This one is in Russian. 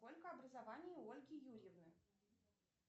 сколько образований у ольги юрьевны